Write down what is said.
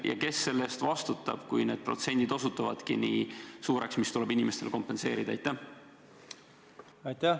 Ja kes selle eest vastutab, kui need protsendid, mis tuleb inimestele kompenseerida, osutuvadki nii suureks?